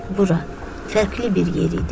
Bura, fərqli bir yer idi.